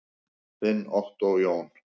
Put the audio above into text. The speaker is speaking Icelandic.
Þinn Ottó Jón.